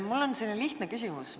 Mul on lihtne küsimus.